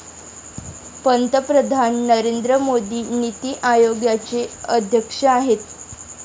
पंतप्रधान नरेंद्र मोदी नीती आयोगाचे अध्यक्ष आहेत.